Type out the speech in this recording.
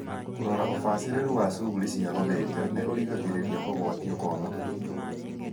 Kũrora ũbacĩrĩru wa cuguri cia gũthinja nĩ ũrigagĩrĩria kũgwatio kwa mũkingo.